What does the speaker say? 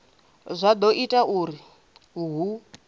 zwa do ita uri hu